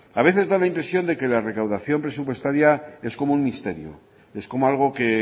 a veces da la impresión de que la recaudación presupuestaria es como un misterio es como algo que